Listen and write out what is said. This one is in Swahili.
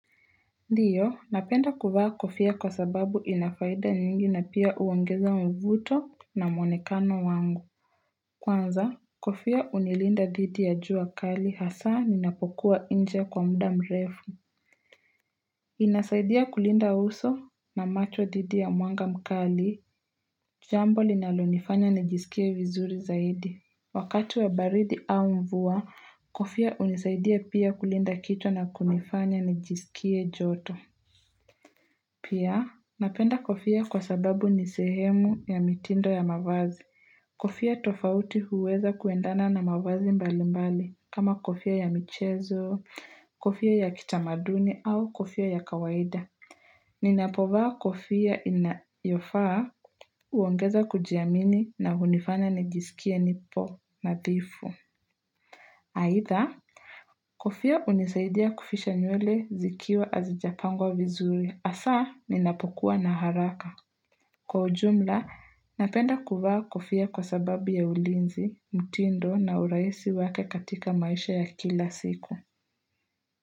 Ndiyo napenda kuvaa kofia kwa sababu ina faida nyingi na pia uongeza mvuto na mwonekano wangu Kwanza kofia unilinda dhidi ya jua kali hasa ni napokuwa inje kwa mdya mrefu inasaidia kulinda uso na macho dhidi ya mwanga mkali jambo linalo nifanya nijisikie vizuri zaidi Wakatu wa baridi au mvua kofia unisaidia pia kulinda kichwa na kunifanya nijisikie joto Pia, napenda kofia kwa sababu nisehemu ya mitindo ya mavazi. Kofia tofauti huweza kuendana na mavazi mbali mbali kama kofia ya michezo, kofia ya kitamaduni au kofia ya kawaida. Ninapovaa kofia inayofaa uongeza kujiamini na hunifanya nijisikie nipo nadhifu. Aidha, kofa unisaidia kufisha nyule zikiwa hazijapangwa vizuri hasa ninapokuwa na haraka. Kwa ujumla, napenda kuwa kufia kwa sababu ya ulinzi, mtindo na uraisi wake katika maisha ya kila siku.